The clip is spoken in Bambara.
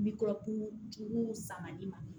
Mikɔrɔbu juguw sanga in ma